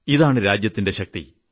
ഇതാണ് രാജ്യത്തിന്റെ ശക്തി